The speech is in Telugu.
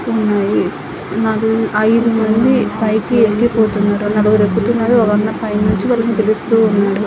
ఉన్నాయి నాకు ఐదు మంది పైకి ఎక్కి పోతున్నారు. నలుగురు ఎక్కుతూ ఉన్నారు. ఒక అన్న పైనుంచి ఒకరిని పిలుస్తూ ఉన్నారు.